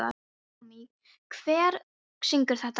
Naómí, hver syngur þetta lag?